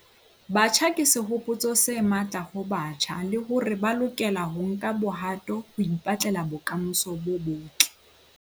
Batjha ke sehopotso se matla ho batjha le hore ba lokela ho nka bohato ho ipetlela bokamoso bo botle.